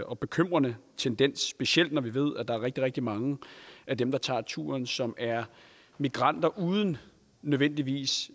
og bekymrende tendens specielt når vi ved at der er rigtig rigtig mange af dem der tager turen som er migranter uden nødvendigvis